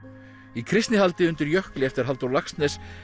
í Kristnihaldi undir jökli eftir Halldór Laxness